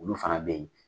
Olu fana bɛ yen